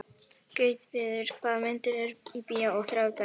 Gautviður, hvaða myndir eru í bíó á þriðjudaginn?